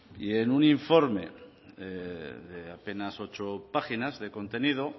y en un informe de apenas ocho páginas de contenido